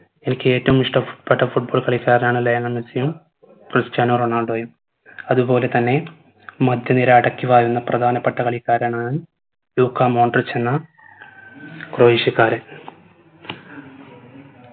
എനിക്ക് ഏറ്റവും ഇഷ്ടപെ പ്പെട്ട foot ball കളിക്കാരനാണ് ലയണൽ മെസ്സിയും ക്രിസ്ത്യാനോ റൊണാൾഡോയും അത് പോലെ തന്നെ മധ്യ നിര അടക്കി വാഴുന്ന പ്രധാനപ്പെട്ട കളിക്കാരനാണ് ലുക്കാ മോൺട്രിക്കിന ക്രോയേഷ്യക്കാരൻ